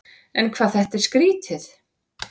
En hvað þetta var skrýtið.